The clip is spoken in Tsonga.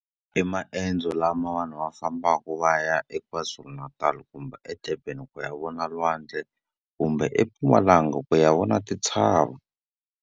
I maendzo lama vanhu va fambaka va ya eKwaZulu-Natal kumbe eDurban ku ya vona lwandle, kumbe eMpumalanga ku ya vona tintshava.